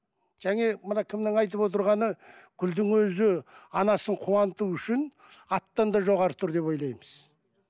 мына кімнің айтып отырғаны гүлдің өзі анасын қуанту үшін аттан да жоғары тұр деп ойлаймыз